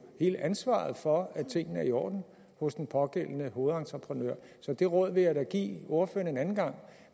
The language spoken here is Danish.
hele ansvaret for at tingene er i orden hos den pågældende hovedentreprenør så det råd vil jeg da give ordføreren en anden gang